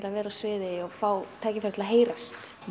að vera á sviði og fá tækifæri til að heyrast